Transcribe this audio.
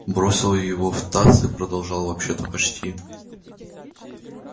бросил его в таз и продолжал вообще-то почти